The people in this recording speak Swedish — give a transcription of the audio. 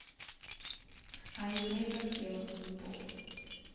Han gick ner för att se vad som stod på.